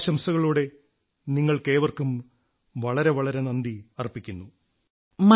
ഈ ശുഭാശംസകളോടെ നിങ്ങൾക്കേവർക്കും വളരെ വളരെ നന്ദി അർപ്പിക്കുന്നു